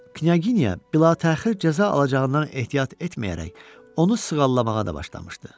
Knyaginya bilatəxir cəza alacağından ehtiyat etməyərək, onu sığallamağa da başlamışdı.